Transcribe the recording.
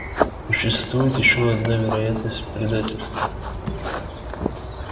существует ещё одна вероятность предательства